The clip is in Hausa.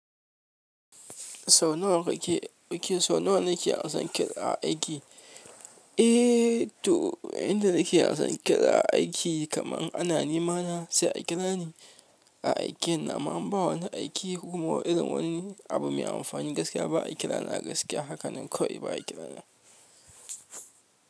Sau nawa kake, ok sau nawa kake ansan kira a aiki? Eh to inda nake ansan kira a aiki kaman ana nema na sai a kira ni a aikeni. Amman ba wani aiki kokuma irin wani abu mai amfani gaskiya ba a kira na gaskiya. Hakanan kawai ba a kira na.